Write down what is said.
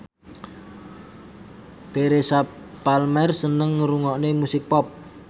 Teresa Palmer seneng ngrungokne musik pop